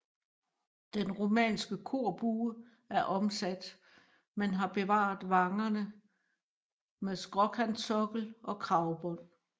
Den romanske korbue er omsat men har bevaret vangerne med skråkantsokkel og kragbånd